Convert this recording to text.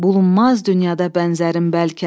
Bulunmaz dünyada bənzərim bəlkə.